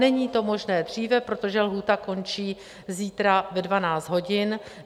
Není to možné dříve, protože lhůta končí zítra ve 12 hodin.